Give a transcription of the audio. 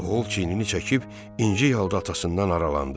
Oğul çiynini çəkib incik halda atasından aralandı.